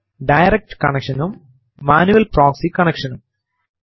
direct connection നും manual proxy connection നും